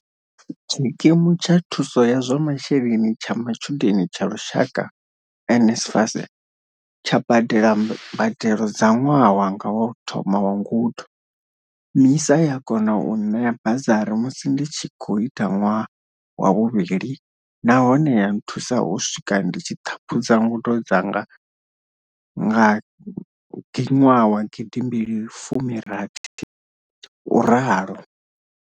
Tshikimu tsha thuso ya zwa masheleni tsha matshudeni tsha lushaka, NSFAS, tsha badela mbadelo dza ṅwaha wanga wa u thoma wa ngudo, MISA ya kona u nṋea bazari musi ndi tshi khou ita ṅwaha wa vhuvhili nahone ya nthusa u swika ndi tshi ṱhaphudza ngudo dzanga nga 2016, u ralo.